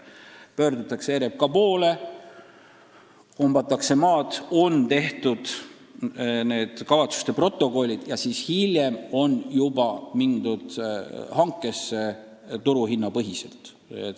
Pöördutakse RMK poole, kombatakse maad, on koostatud kavatsuste protokollid ja hiljem juba sõlmitakse tarneleping, mis põhineb turuhinnal.